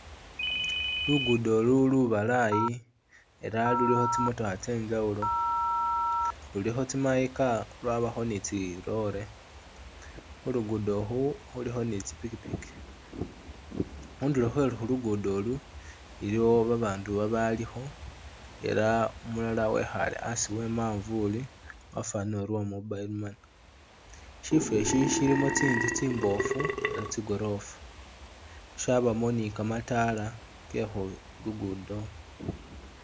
Lugudo ulu lubalayi ela lulikho tsimotokha tsye injawulo. Lulikho tsi my car lwabakho ni tsi lorry, khu lugudo ukhu khulikho ni tsi pikipiki. Khundulo khwe khu lugudo olu iliwo babandu babalikho ela umulala wekhaale asi e manvuli wafwanile uri uli uwa mobile money. Shifwo isyi shilimu tsinzu tsimboofu nga tsigorofa syabamu ni kamataala ke khu lugudo.